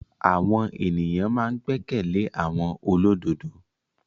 Àwọn èyàn ma n gbẹ́kẹ̀lé àwọn olódodo.